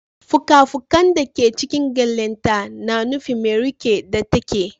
Fuka-fukan da ke cikin gyalenta na nufin mai rike da take